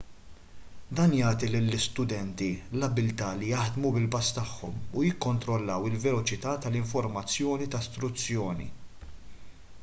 dan jagħti lill-istudenti l-abbiltà li jaħdmu bil-pass tagħhom u jikkontrollaw il-veloċità tal-informazzjoni ta' struzzjoni